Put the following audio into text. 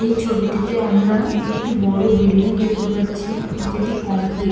এই ছবিটিতে আমরা একটা বড় বিল্ডিং দেখতে পাচ্ছি যেটি কমপ্লি--